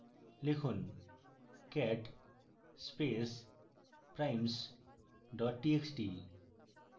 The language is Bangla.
লিখুন cat space primes dot txt